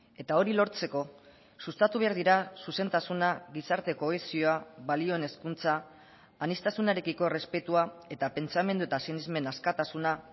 eta hori lortzeko sustatu behar dira zuzentasuna gizarte kohesioa balioen hezkuntza aniztasunarekiko errespetua eta pentsamendu eta sinesmen askatasuna